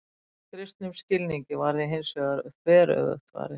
Að kristnum skilningi var því hins vegar þveröfugt farið.